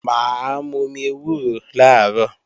Mà á momi ewúro làárọ̀